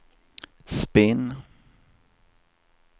spinn